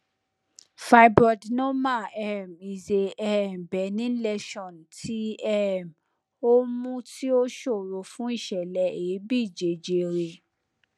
fibroadenoma um is a um benign lesion ti um omu tí ó ṣòro fún ìṣẹlẹ èébí jejere